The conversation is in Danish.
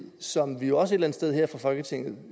som vi jo også et eller andet sted her fra folketingets